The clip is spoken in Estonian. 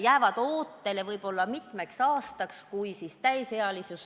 Jäävad ootele võib-olla mitmeks aastaks, kuni laps saab täisealiseks.